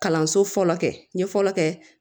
Kalanso fɔlɔ kɛ n ye fɔlɔ kɛ